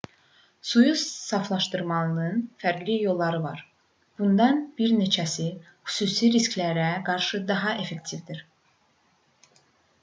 suyu saflaşdırmanın fərqli yolları var bunlardan bir neçəsi xüsusi risklərə qarşı daha effektivdir